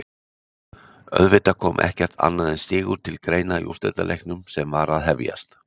Auðvitað kom ekkert annað en sigur til greina í úrslitaleiknum sem var að hefjast.